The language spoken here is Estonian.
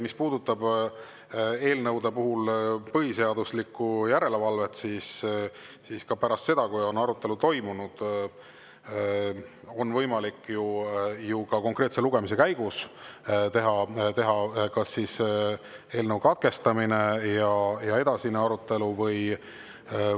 Mis puudutab eelnõude puhul põhiseaduslikkuse järelevalvet, siis ka pärast seda, kui arutelu on toimunud, on võimalik ju – ka konkreetse lugemise käigus – eelnõu katkestada ja edasi arutada.